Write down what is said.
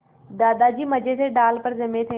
दादाजी मज़े से डाल पर जमे थे